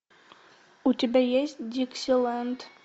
у тебя есть диксиленд